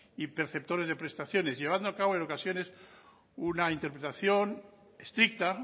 y perceptores de prestaciones llevando a cabo en ocasiones una interpretación estricta